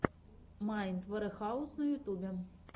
майнд варехаус на ютубе